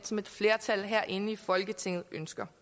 som et flertal herinde i folketinget ønsker